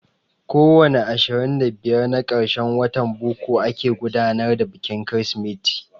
Ko wani ashirin da biyar na karshen watan boko ake gudanar da bikin Kirsimeti.